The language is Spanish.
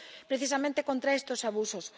precisamente contra estos abusos.